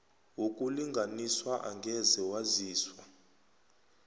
wokulinganiswa angeze waziswa